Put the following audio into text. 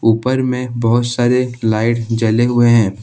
ऊपर में बहुत सारे लाइट जले हुवे हैं।